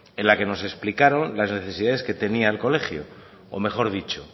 en la que nos explicaron las necesidades que tenía el colegio o mejor dicho